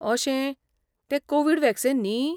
अशें, तें Covid vaccine न्ही?